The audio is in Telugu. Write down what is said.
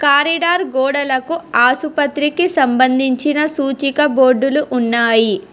కారిడార్ గోడలకు ఆసుపత్రికి సంబంధించిన సూచిక బోర్డులు ఉన్నాయి.